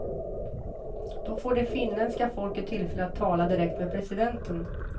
Då får det finländska folket tillfälle att tala direkt med presidenten.